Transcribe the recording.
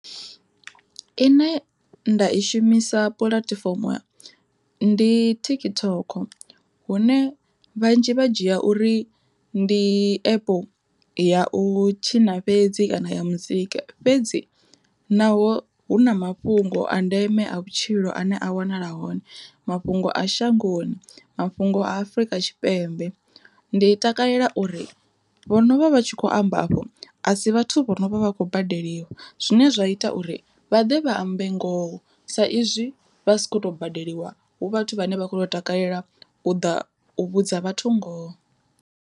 Ine nda i shumisa puḽatifomo ndi TikTok hune vhanzhi vha dzhia uri ndi epu ya u tshina fhedzi kana ya muzika, fhedzi naho hu na mafhungo a ndeme a vhutshilo ane a wanala hone mafhungo a shangoni mafhungo a Afrika Tshipembe. Ndi takalela uri vhonovha vha tshi kho amba afho a si vhathu vho no vha vha khou badeliwa, zwine zwa ita uri vha ḓe vha ambe ngoho sa izwi vha si kho to badeliwa hu vhathu vhane vha kho takalela u ḓa u vhudza vhathu ngoho.